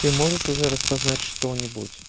ты можешь уже распознать что-нибудь